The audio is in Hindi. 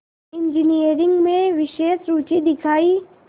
इंजीनियरिंग में विशेष रुचि दिखाई